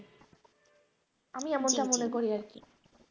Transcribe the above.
আমি জি জি এমনটা মনে করি আর